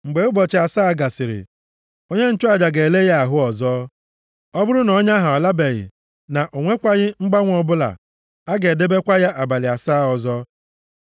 Mgbe ụbọchị asaa gasịrị, onye nchụaja ga-ele ya ahụ ọzọ. Ọ bụrụ na ọnya ahụ alabeghị, na ọ nwekwaghị mgbanwe ọbụla, a ga-edebekwa ya abalị asaa ọzọ.